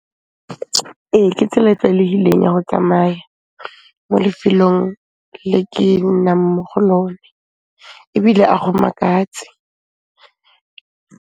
Ee, ke tsela e tlwaelehileng ya ho tsamaya mo lefelong le ke nnang mo go lone, ebile a go makatse.